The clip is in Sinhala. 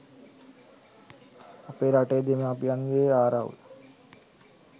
අපේ රටේ දෙමාපියන්ගේ ආරවුල්